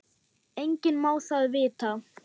Enginn má það vita.